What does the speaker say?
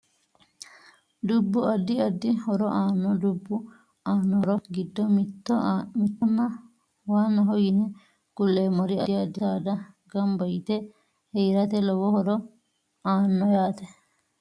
Dubbu addi addi horo aano dubbu aano horo giddo mitto nna waanaho yine kuleemori addi addi saada ganba yite. heerate lowo horo aano